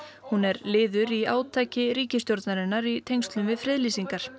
hún er liður í átaki ríkisstjórnarinnar í tengslum við friðlýsingar